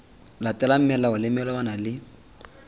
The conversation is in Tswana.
latelang melao le melawana le